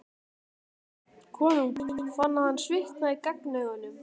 Konungur fann að hann svitnaði á gagnaugunum.